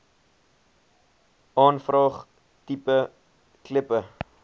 aanvraag tipe kleppe